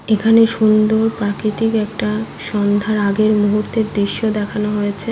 এখানে সুন্দর প্রাকৃতিক একটা সন্ধ্যার আগের মুহূর্তের দৃশ্য দেখানো হয়েছে।